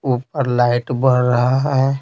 ऊपर लाइट बढ़ रहा है।